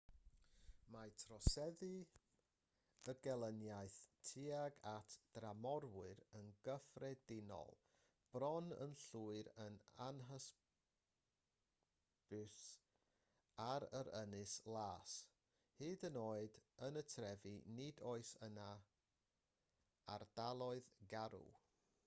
mae troseddu a gelyniaeth tuag at dramorwyr yn gyffredinol bron yn llwyr yn anhysbys yn yr ynys las hyd yn oed yn y trefi nid oes yna ardaloedd garw